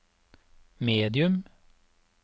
medium